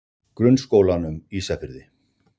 Grunnskólanum Ísafirði